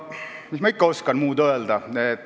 Mis ma muud ikka oskan öelda.